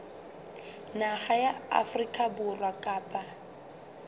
naha ya afrika borwa kapa